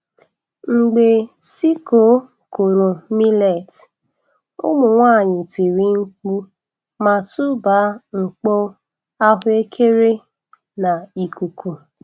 Mgbe sickle kụrụ millet, ụmụ nwanyị tiri mkpu ma tụba mkpo ahụekere n'ikuku.